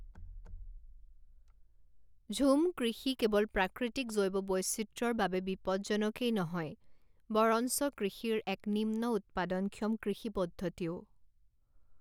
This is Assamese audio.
ঝুম কৃষি কেৱল প্ৰাকৃতিক জৈৱ বৈচিত্ৰ্যৰ বাবে বিপদজনকেই নহয় বৰঞ্চ কৃষিৰ এক নিম্ন উৎপাদনক্ষম কৃষি পদ্ধতিও।